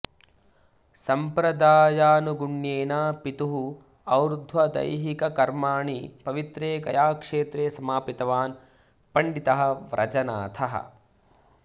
सम्प्रदायानुगुण्येन पितुः और्ध्वदैहिककर्माणि पवित्रे गयाक्षेत्रे समापितवान् पण्डितः व्रजनाथः